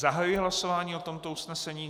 Zahajuji hlasování o tomto usnesení.